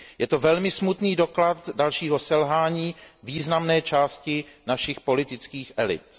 Je to velmi smutný doklad dalšího selhání významné části našich politických elit.